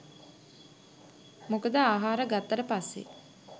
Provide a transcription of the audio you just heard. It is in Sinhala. මොකද ආහාර ගත්තට පස්සේ